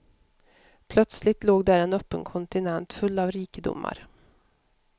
Plötsligt låg där en öppen kontinent full av rikedomar.